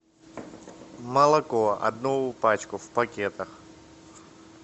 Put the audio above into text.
молоко одну пачку в пакетах